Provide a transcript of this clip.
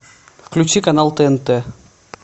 включи канал тнт